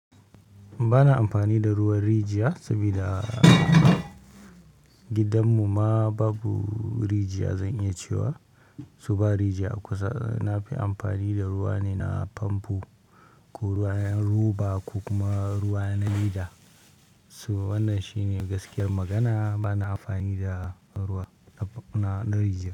Ba na amfani da ruwan rijiya saboda a gidanmu ma babu rijiya. Zan iya cewa su ba rijiya a kusa. Na fi amfani da ruwa ne na famfo ko ruwa 'yan roba ko kuma ruwa na lida. So wannan shi ne gaskiyar magana. Bana amfani da ruwa na rijiya.